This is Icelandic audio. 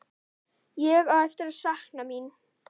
Ég á eftir að sakna mín.